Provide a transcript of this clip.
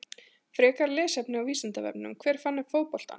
Frekara lesefni á Vísindavefnum: Hver fann upp fótboltann?